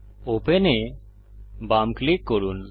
open এ বাম click করুন